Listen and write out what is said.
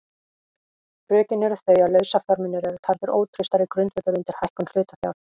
Rökin eru þau að lausafjármunir eru taldir ótraustari grundvöllur undir hækkun hlutafjár.